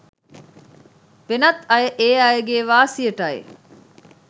වෙනත් අය ඒ අයගෙ වාසියටයි.